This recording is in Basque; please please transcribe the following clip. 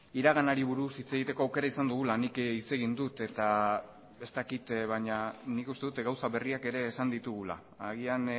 iraganari buruz hitz egiteko aukera izan dugula nik hitz egin dut eta ez dakit baina nik uste dut gauza berriak ere esan ditugula agian